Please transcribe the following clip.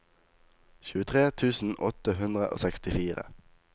tjuetre tusen åtte hundre og sekstifire